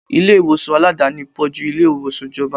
Ilé ìwòsàn Aládàáni pò ju ilé ìwòsàn ìjọba.